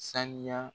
Saniya